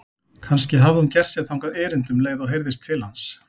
Kannski hafði hún gert sér þangað erindi um leið og heyrðist til hans.